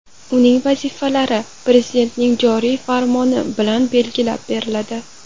Uning vazifalari Prezidentning joriy farmoni bilan belgilab beriladi.